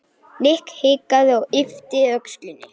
Nikki hikaði og yppti öxlum.